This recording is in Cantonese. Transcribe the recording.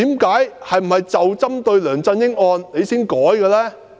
是否針對梁振英案而改呢？